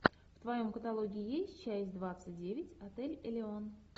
в твоем каталоге есть часть двадцать девять отель элеон